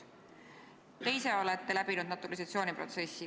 Te ise olete läbi teinud naturalisatsiooniprotsessi.